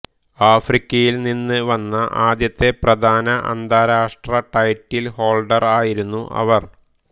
ആഫ്രിക്കയിൽ നിന്ന് വന്ന ആദ്യത്തെ പ്രധാന അന്താരാഷ്ട്ര ടൈറ്റിൽഹോൾഡർ ആയിരുന്നു അവർ